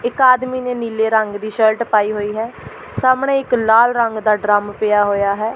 ਇੱਕ ਆਦਮੀ ਨੇ ਨੀਲੇ ਰੰਗ ਦੀ ਸ਼ਰਟ ਪਾਈ ਹੋਈ ਹੈ ਸਾਹਮਣੇ ਇੱਕ ਲਾਲ ਰੰਗ ਦਾ ਡਰੰਮ ਪਿਆ ਹੋਇਆ ਹੈ।